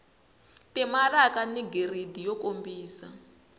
timaraka ni giridi yo kombisa